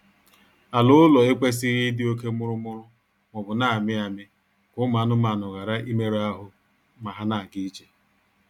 Ala ụlọ ekwesịghị ịdị oke mụrụmụrụ maọbụ na-amị amị ka ụmụ anụmaanụ ghara imerụ ahụ ma ha na-ga ije